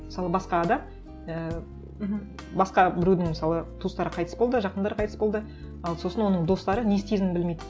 мысалы басқа адам і мхм басқа біреудің мысалы туыстары қайтыс болды жақындары қайтыс болды ал сосын оның достары не істейтінін білмейді